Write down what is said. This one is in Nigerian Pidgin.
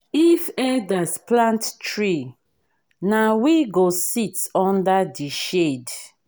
if elders plant tree na we go sit under the shade.